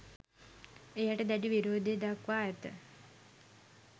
එයට දැඩි විරෝධය දක්වා ඇත